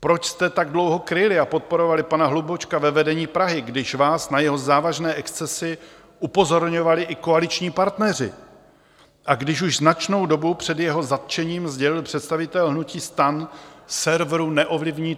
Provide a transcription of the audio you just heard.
Proč jste tak dlouho kryli a podporovali pana Hlubučka ve vedení Prahy, když vás na jeho závažné excesy upozorňovali i koaliční partneři a když už značnou dobu před jeho zatčením sdělil představitel hnutí STAN serveru Neovlivní.